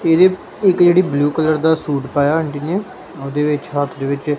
ਇਹਦੇ ਇੱਕ ਜਿਹੜੀ ਬਲੂ ਕਲਰ ਦਾ ਸੂਟ ਪਾਇਆ ਆਂਟੀ ਨੇ ਉਹਦੇ ਵਿੱਚ ਹੱਥ ਦੇ ਵਿੱਚ--